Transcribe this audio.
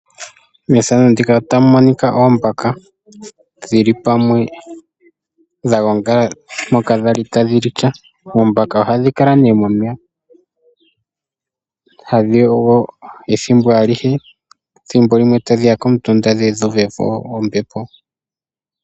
Methano ndika otamu monika oombaka dhi li pamwe dha gongala mpoka dhali tadhi li ka. Oombaka ohadhi kala nee momeya tadhi yogo ethimbo alihe, thimbo limwe tadhi ya komutunda dhe dhu uve po ombepo.